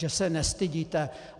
Že se nestydíte!